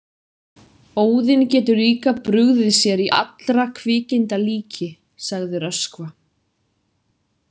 Óðinn getur líka brugðið sér í allra kvikinda líki, sagði Röskva.